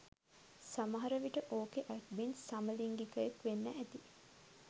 සමහරවිට ඕකෙ ඇඩ්මින් සමලින්ගිකයෙක් වෙන්න ඇති.